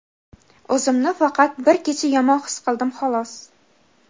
O‘zimni faqat bir kecha yomon his qildim xolos.